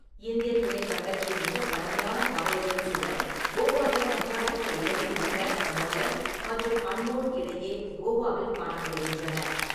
இந்தியத் துணைக்கண்டத்தின் மிகப் பழமையான பாறைகளில் சில, கோவாவின் கர்நாடக எல்லையில் உள்ள மோலெம் மற்றும் அன்மோட் இடையே கோவாவில் காணப்படுகின்றன.